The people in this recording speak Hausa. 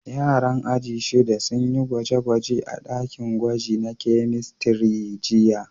Yaran aji shida sun yi gwaje-gwaje a dakin gwaji na kemistri jiya.